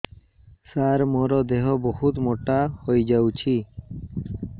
ସାର ମୋର ଦେହ ବହୁତ ମୋଟା ହୋଇଯାଉଛି